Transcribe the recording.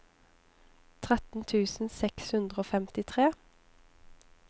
tretten tusen seks hundre og femtitre